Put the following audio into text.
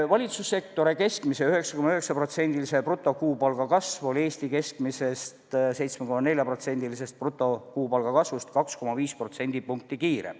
Valitsussektori keskmine 9,9%-lise brutokuupalga kasv oli Eesti keskmisest 7,4%-lisest brutokuupalga kasvust 2,5% võrra kiirem.